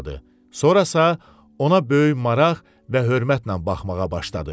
Sonrasa ona böyük maraq və hörmətlə baxmağa başladı.